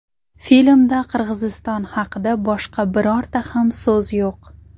Filmda Qirg‘iziston haqida boshqa birorta ham so‘z yo‘q.